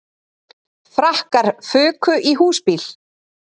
Frakkar fuku í húsbíl